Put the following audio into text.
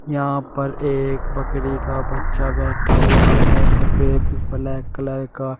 यहां पर एक बकरी का बच्चा बैठा हुआ है सफेद ब्लैक कलर का।